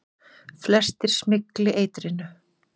Flestir smygli eitrinu.